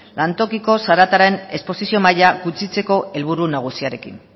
lantokiko zarataren esposizio maila gutxitzeko helburu nagusiarekin